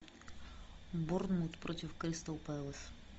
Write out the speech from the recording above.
борнмут против кристал пэлас